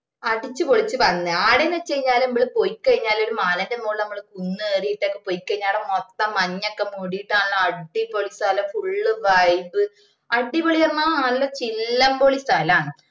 അടിച്ച് പൊളിച്ച് വന്ന് ആടന്ന് വെച് കഴിഞ്ഞാല് ഞമ്മള് പോയിക്കഴിഞ്ഞാൽ ഒരു മലേൻറെ മോളിൽ കുന്നു കേറിട്ടൊക്കെ പോയിക്കഴിഞ്ഞാല് ആട മൊത്തം മഞ്ഞൊക്കെ മൂടിട്ടു നല്ല അടിപൊളി സ്ഥലം full vibe അടിപൊളിന്ന് പറഞ്ഞാ നല്ല ചില്ലംപൊളി സ്ഥലാണ്